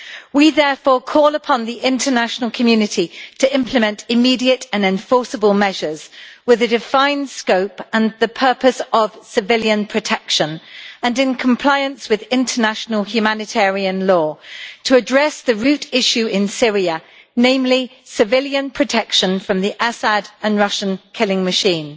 We therefore call upon the international community to implement immediate and enforceable measures with a defined scope and the purpose of civilian protection, and in compliance with international humanitarian law to address the root issue in Syria, namely, civilian protection from the Assad and Russian killing machine.